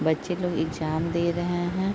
बच्चे लोग एग्जाम दे रहे हैं।